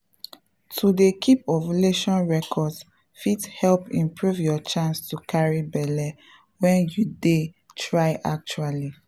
to dey keep ovulation records fit help improve your chance to carry belle when you dey try actually.